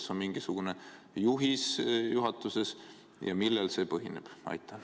Kas on mingisugune juhis juhatuses või millel see põhineb?